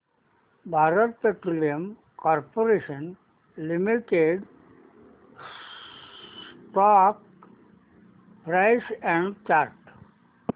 Bharat petroleum corporation limited stock price and chart